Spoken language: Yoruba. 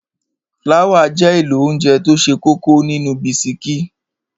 Fláwà jẹ́ èlò óńjẹ tó ṣe kókó nínú bisikí.